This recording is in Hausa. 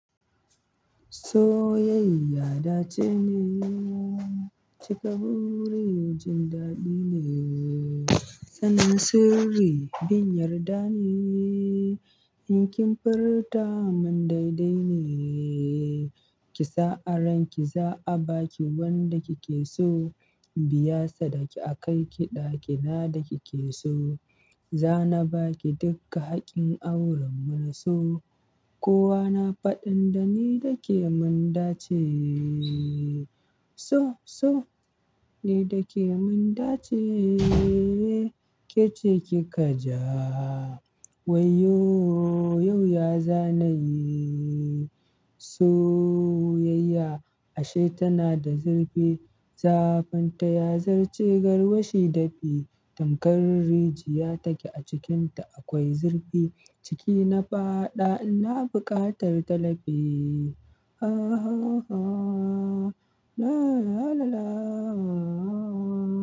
Soyayya dace ne cika burejin daɗi ne. Sanin sirri bin yarda ne in kin furta mun daidai ne. Kisa aranki za abaki wanda kikeso, inbiya sadaki akaiki ɗaki na da kike so. Za na baki duka haƙƙin auren mu na so kowa na faɗin da ni dake mun dace. So so ni dake mun dace kece kika ja. Wayyo yau yazanayi. Soyayya ashe tana da zurfi. Zafinta ya zarce garwashi dafi. Tankar rijiya take a cikinta akwai zurfi. Ciki na faɗa ina buƙatar talafi. Ah ah la la la la ah.